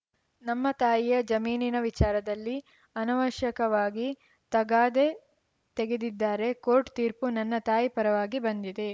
ನಮ್ಮ ತಾಯಿಯ ಜಮೀನಿನ ವಿಚಾರದಲ್ಲಿ ಅನವಶ್ಯಕವಾಗಿ ತಗಾದೆ ತೆಗೆದಿದ್ದಾರೆ ಕೋರ್ಟ್‌ ತೀರ್ಪು ನನ್ನ ತಾಯಿ ಪರವಾಗಿ ಬಂದಿದೆ